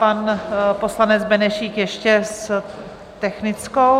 Pan poslanec Benešík ještě s technickou.